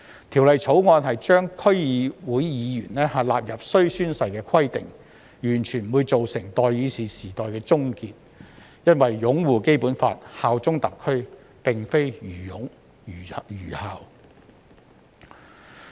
《條例草案》規定區議會議員必須宣誓，不會造成代議士時代的終結，因為擁護《基本法》、效忠特區，並非愚擁、愚效。